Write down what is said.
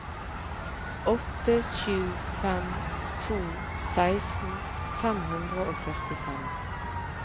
åtte sju fem to seksten fem hundre og førtifem